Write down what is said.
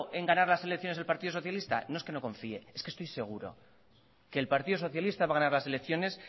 en ganar las elecciones el partido socialista no es que no confíe es que estoy seguro que el partido socialista va a ganar las elecciones